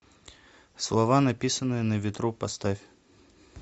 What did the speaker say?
слова написанные на ветру поставь